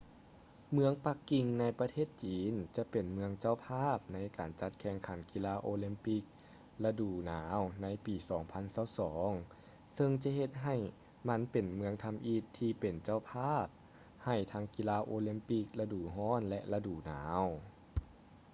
ເມືອງປັກກິ່ງໃນປະເທດຈີນຈະເປັນເມືອງເຈົ້າພາບໃນການຈັດການແຂ່ງຂັນກິລາໂອລິມປິກລະດູໜາວໃນປີ 2022 ເຊິ່ງຈະເຮັດໃຫ້ມັນເປັນເມືອງທຳອິດທີ່ເປັນເຈົ້າພາບໃຫ້ທັງກິລາໂອລິມປິກລະດູຮ້ອນ ແລະ ລະດູໜາວ